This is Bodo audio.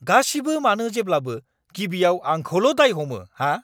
गासिबो मानो जेब्लाबो गिबियाव आंखौल' दाय हमो हा?